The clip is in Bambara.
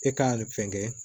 E ka fɛn kɛ